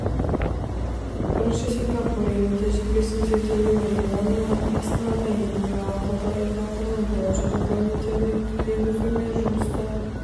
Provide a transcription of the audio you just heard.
бірінші сингапур елінің тәжірибесін зерделеу және оны астанада енгізу ақылды инфрақұрылым бойынша регламенттерді енгізу мен жұмысты